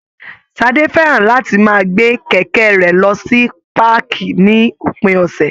Ṣadé fẹ́ràn láti máa gbé kẹ̀kẹ́ rẹ̀ lọ sí páàkì ní òpin ọ̀sẹ̀